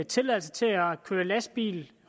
tilladelse til at køre lastbil